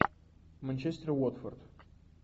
манчестер уотфорд